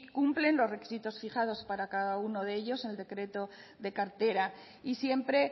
cumplen los requisitos fijados para cada uno de ellos en el decreto de cartera y siempre